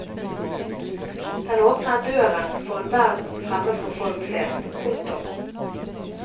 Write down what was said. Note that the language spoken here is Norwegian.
Den åpner døren for en verden fremmed for folk flest. punktum